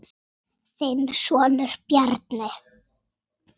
Þinn sonur, Bjarni.